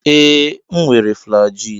Ee m were flajilụ.